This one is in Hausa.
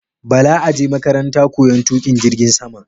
Bala aje makaranta koyan tuƙin jirgin saman